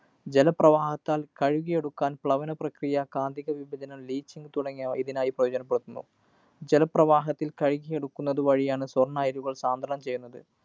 ജലപ്രവാഹത്താല്‍ കഴുകിയെടുക്കാന്‍ പ്ലവന പ്രക്രിയ കാന്തിക വിപചനം leaching തുടങ്ങിയവ ഇതിനായി പ്രയോചനപെടുത്തുന്നു. ജലപ്രവാഹത്തില്‍ കഴുകിയെടുക്കുന്നതു വഴിയാണ് സ്വര്‍ണ്ണ അയിരുകള്‍ സാന്ദ്രണം ചെയ്യുന്നത്.